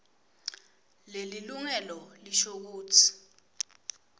lelilungelo lisho kutsi